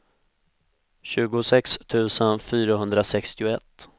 tjugosex tusen fyrahundrasextioett